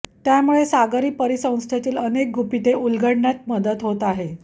त्यामुळे सागरी परिसंस्थेतील अनेक गुपिते उलगडण्यात मदत होत आहे